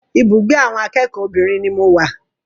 Ibùgbé awọn akẹ́kọ̀ọ́ obìnrin ni mo wà.